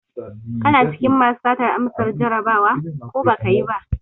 Kana cikin masu satar amsan Jarabawa, ko baka yi ba?